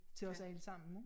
Til os alle sammen ik